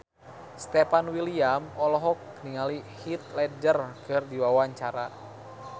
Stefan William olohok ningali Heath Ledger keur diwawancara